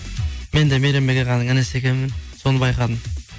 мен де мейрамбек ағаның інісі екенмін соны байқадым